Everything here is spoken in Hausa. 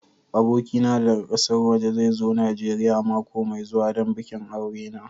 Abokina daga ƙasar waje zai zo Najeriya mako mai zuwa don bikin aure na.